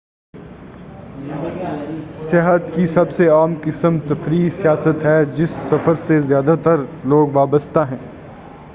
سیاحت کی سب سے عام قسم تفریحی سیاحت ہے جس سفر سے زیادہ تر لوگ وابستہ ہیں